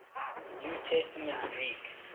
new testament greek